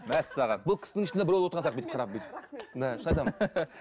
мәссаған бұл кісінің ішінде біреу отырған сияқты бүйтіп қарап бүйтіп шын айтамын